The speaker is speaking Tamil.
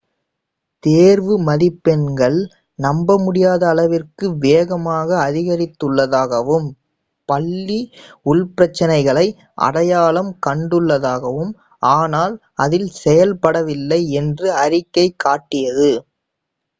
தேர்வு மதிப்பெண்கள் நம்ப முடியாத அளவிற்கு வேகமாக அதிகரித்துள்ளதாகவும் பள்ளி உள்பிரச்சனைகளை அடையாளம் கண்டுள்ளதாகவும் ஆனால் அதில் செயல்படவில்லை என்றும் அறிக்கை காட்டியது